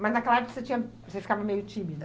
Mas naquela época você tinha, você ficava meio tímida?